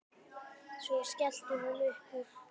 Svo skellti hún upp úr.